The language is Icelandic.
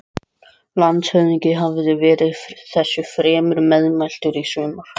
Landshöfðingi hafði verið þessu fremur meðmæltur í sumar.